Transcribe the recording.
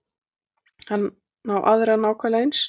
Hann á aðra nákvæmlega eins.